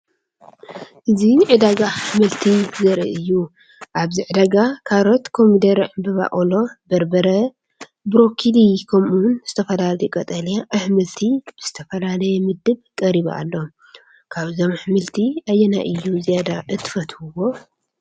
እዚ ዕዳጋ ኣሕምልቲ ዘርኢ እዩ። ኣብዚ ዕዳጋ ካሮት፡ ኮሚደረ ፡ዕምባባ ቆሎ፡ በርበረ፡፡ ብሮኮሊ፡ ከምኡ’ውን ዝተፈላለዩ ቀጠልያ ኣሕምልቲ ብዝተፈላለየ ምድብ ቀሪቡ ኣሎ። ካብዞም ኣሕምልቲ ኣየናይ እዩ ዝያዳ እትፈትውዎ?